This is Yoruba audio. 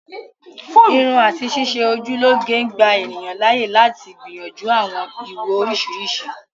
Irun àti ṣíṣe ojú lọ́ge ń gbà ènìyàn láàyè lati gbìyànjú àwọn ìwò oriṣiriṣi